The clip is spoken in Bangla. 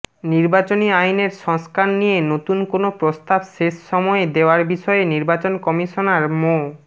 নির্বাচনী আইনের সংস্কার নিয়ে নতুন কোনো প্রস্তাব শেষ সময়ে দেওয়ার বিষয়ে নির্বাচন কমিশনার মো